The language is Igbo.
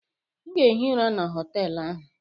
M ga-ehi ụra na họtelụ ahụ.